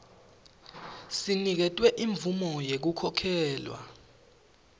sinikete imvumo yekukhokhelwa